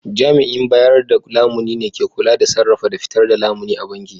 Jami'in bayar da lamuni ne ke kula da sarrafa da fitar da lamuni a banki